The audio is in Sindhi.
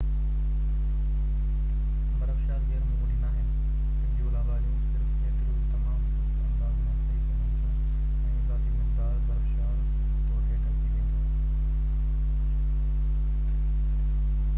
برفشار غير معمولي ناهن سڌيون لهواريون صرف ايترو ئي تمام سست انداز ۾ سهي سگهن ٿيون ۽ اضافي مقدار برفشار طور هيٺ اچي ويندو